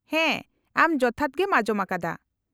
-ᱦᱮᱸ, ᱟᱢ ᱡᱚᱛᱷᱟᱛ ᱜᱮᱢ ᱟᱸᱡᱚᱢ ᱟᱠᱟᱫᱟ ᱾